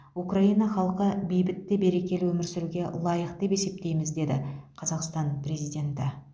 украина халқы бейбіт те берекелі өмір сүруге лайық деп есептейміз деді қазақстан президенті